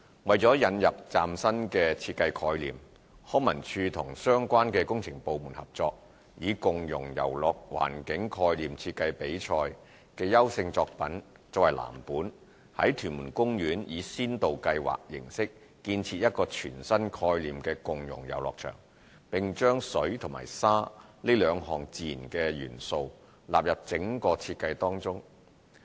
為了引入嶄新設計概念，康文署與相關工程部門合作，以"共融遊樂環境概念設計比賽"的優勝作品為藍本，在屯門公園以先導計劃形式建設一個全新概念的共融遊樂場，並將"水"和"沙"兩項自然的元素納入整個設計中。